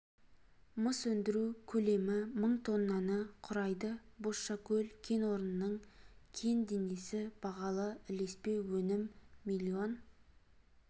мыс өндіру көлемі мың тоннаны құрайды бозшакөл кен орнының кен денесі бағалы ілеспе өнім миллион